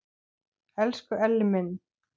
Elsku Elli minn!